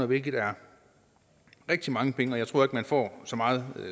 hvilket er rigtig mange penge og jeg tror heller ikke man får så meget